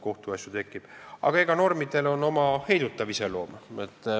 Kuid normidel on oma heidutav iseloom.